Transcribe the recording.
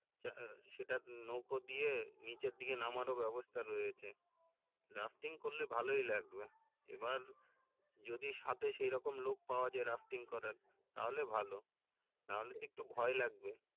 আহ সেটা নৌকো দিয়ে নিচের দিকে নামারও ব্যবস্থা রয়েছে rafting করলে ভালোই লাগবে এবার যদি সাথে সেইরকম লোক পাওয়ায় rafting করার তাহলে ভালো তাহলে তো একটু ভয় লাগবে